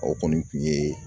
O kɔni kun ye